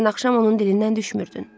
Dünən axşam onun dilindən düşmürdün.